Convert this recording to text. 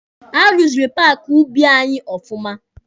A ruziri paaki ubi anyị ọfụma.